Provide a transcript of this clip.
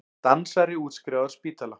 Dansari útskrifaður af spítala